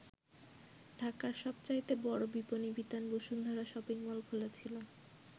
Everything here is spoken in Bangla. ঢাকার সবচাইতে বড় বিপনী বিতান বসুন্ধরা শপিং মল খোলা ছিল।